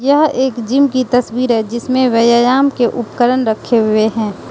यह एक जिम की तस्वीर है जिसमे व्ययायाम के उपकरण रखे हुए हैं।